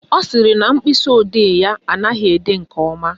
Ọ sịrị na mkpịsịodee ya anaghị ede nke ọma